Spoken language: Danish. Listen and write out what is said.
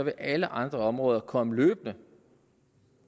alle andre områder vil komme løbende